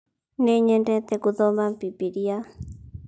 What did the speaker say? Nĩ nyendete guthoma bibilia